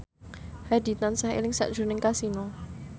Hadi tansah eling sakjroning Kasino